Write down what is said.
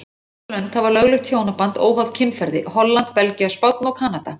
Fjögur lönd hafa lögleitt hjónaband óháð kynferði, Holland, Belgía, Spánn og Kanada.